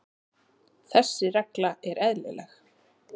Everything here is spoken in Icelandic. Þessi regla er eðlileg.